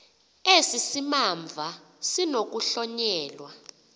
esi simamva sinokuhlonyelwa